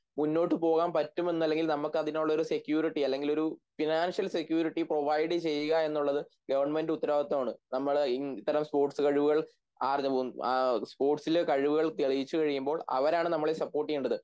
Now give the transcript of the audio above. മുന്നോട്ടു പോകാൻ പറ്റുമെന്നല്ലങ്കിൽ നമുക്ക് അതിനോടൊരു സെക്യൂരിറ്റി അല്ലെങ്കിലൊരു ഫിനാൻഷ്യൽ സെക്യൂരിറ്റി പ്രൊവൈഡ് ചെയ്യുക എന്നുള്ളത് ഗവൺമെൻറ് ഉത്തരവാദിത്തമാണ് നമ്മളെ ഇത്തരം സ്പോർട്സ് കഴിവുകൾ തെളിയിച്ചു കഴിയുബോൾ അവരാണ് നമ്മളെ സപ്പോർട്ട് ചെയ്യേണ്ടത്